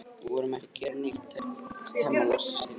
Við vorum ekki að gera neitt, tekst Hemma loks að stynja upp.